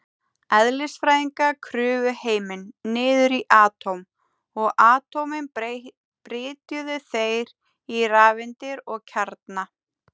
Eðlisfræðingar klufu heiminn niður í atóm, og atómin brytjuðu þeir í rafeindir og kjarna.